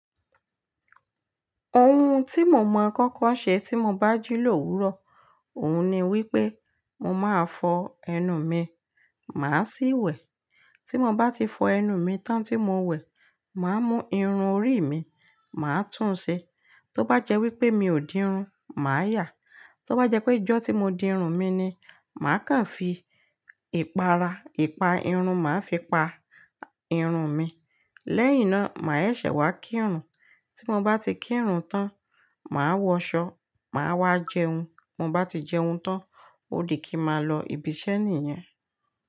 Ohun tí mo máa ń kọ́kọ́ ṣe tí mo bá jí lóòwú ró, òun ni wípé mo máa fọ ẹnu mi, màá sì wẹ̀. Tí mo bá ti fọ ẹnu mi tán tí mo wẹ̀, màá mú irun orí mi, màá tún un ṣe. Tó bá jẹ́ wípé mi ò di irun, màá yà. Tó bá jẹ́ pé ijọ́ tí mo di irun mi ni, màá kan fi ìpara, ipa irun màá fi pa irun mi. Lẹ́yìn náà, màá sẹsẹ̀ wá kí irun. Tí mo bá ti kí irun tán, màá wọ ṣọ, màá wá jẹun. Mo bá ti jẹun tán, ó di kí ma lọ ibi iṣẹ́ nìyẹn.